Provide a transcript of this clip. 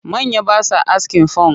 Manya ba sa askin funk